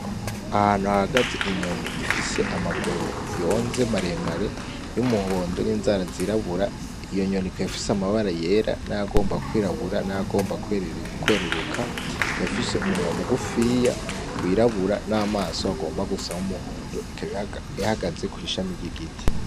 Ahantu hahagaze inyoni ifise amaguru yonze maremare y'umuhondo n'inzara z'irabura iyo nyoni ikaba ifise amabara yera nayomba kw'irabura nayomba kweruruka ikaba ifise umunwa mugufiya w'irabura n'amaso agomba gusa nk'umuhondo ikaba ihagaze kw'ishami ry'igiti.